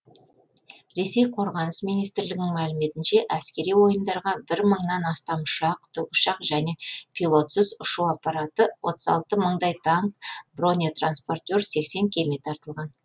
ресей қорғаныс министрлігінің мәліметінше әскери ойындарға бір мыңнан астам ұшақ тікұшақ және пилотсыз ұшу аппараты отыз алты мыңдай танк бронетранспортер кеме тартылған